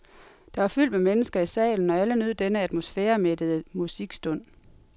Der var fyldt med mennesker i salen, og alle nød denne atmosfæremættede musikstund.